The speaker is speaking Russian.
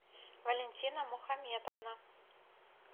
валентина мухаметовна